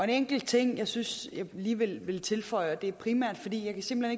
enkelt ting jeg synes jeg alligevel vil tilføje det er primært fordi jeg simpelt